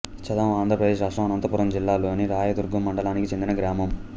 చదం ఆంధ్రప్రదేశ్ రాష్ట్రం అనంతపురం జిల్లా లోని రాయదుర్గం మండలానికి చెందిన గ్రామం